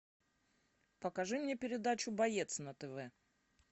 покажи мне передачу боец на тв